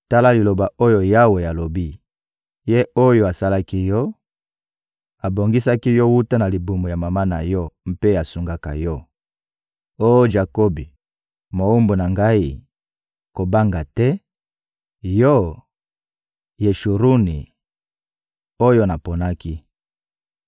Tala liloba oyo Yawe alobi, Ye oyo asalaki yo, abongisaki yo wuta na libumu ya mama na yo mpe asungaka yo: Oh Jakobi, mowumbu na Ngai, kobanga te; yo, Yeshuruni, oyo naponaki.